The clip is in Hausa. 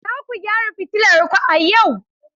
Za ku gyara fitilar ku a yau.